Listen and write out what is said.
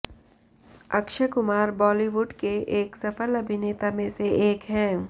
Akshay Kumar Bollywood के एक सफल अभिनेता में से एक है